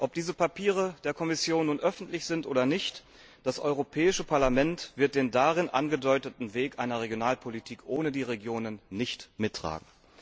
Ob diese Papiere der Kommission nun öffentlich sind oder nicht, das Europäische Parlament wird den darin angedeuteten Weg einer Regionalpolitik ohne die Regionen nicht mittragen.